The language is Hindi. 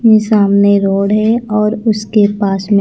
ये सामने रोड है और उसके पास में--